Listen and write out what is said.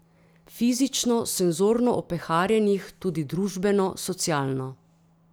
Fizično, senzorno opeharjenih, tudi družbeno, socialno.